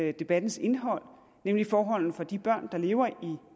er debattens indhold nemlig forholdene for de børn der lever i